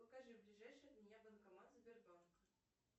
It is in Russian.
покажи ближайший от меня банкомат сбербанка